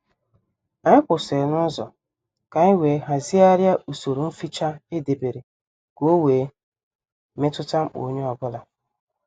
Anyị kwụsịrị n'uzo ka anyị wee hazigharia usoro mficha edebere ka ọ wee metuta mkpa onye ọ bụla